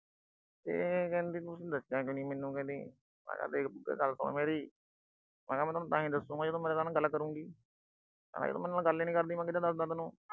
ਤੇ ਕਹਿੰਦੀ ਤੁਸੀਂ ਦੱਸਿਆ ਕਿਉਂ ਨੀ ਮੈਨੂੰ ਕਹਿੰਦੀ, ਮੈਂ ਕਿਹਾ ਦੇਖ ਬੁਗੇ ਗੱਲ ਸੁਣ ਮੇਰੀ। ਮੈਂ ਤੈਨੂੰ ਤਾਂ ਹੀ ਦਸੂੰਗਾ ਜੇ ਤੂੰ ਮੇਰੇ ਨਾਲ ਗੱਲ ਕਰੂਗੀ। ਮੈਂ ਕਿਹਾ ਜੇ ਤੂੰ ਮੇਰੇ ਨਾਲ ਗੱਲ ਈ ਨੀ ਕਰਦੀ, ਮੈਂ ਕਿਦਾ ਦੱਸ ਦਾ ਤੈਨੂੰ।